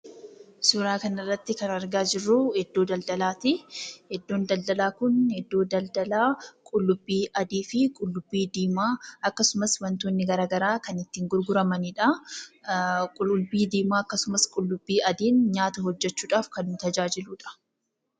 Suuraa kana irratti kan arginu iddoo daldalaati. Iddoon daldalaa kun iddoo daldalaa qullubbii adii fi qullubbii diimaa akkasumas wantootni gara garaa itti gurguramanidha. Qullubbii diimaan akkasumas qullubbii adiin nyaata hojjechuudhaf tajaajiludha.